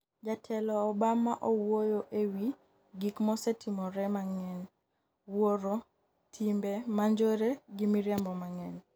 Jatelo Obama owuoyo e wi ''gik mosetimore mang'eny, wuoro, timbe manjore gi miriambo mang'eny